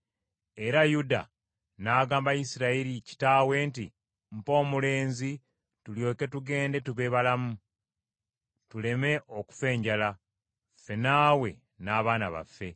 Era Yuda n’agamba Isirayiri kitaawe nti, “Mpa omulenzi tulyoke tugende tube balamu, tuleme okufa enjala, ffe naawe n’abaana baffe.